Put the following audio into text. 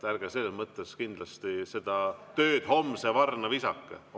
Ärge kindlasti seda tööd homse varna visake.